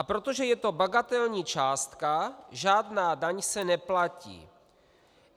A protože je to bagatelní částka, žádná daň se neplatí.